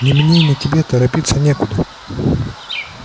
ни мне ни тебе торопиться некуда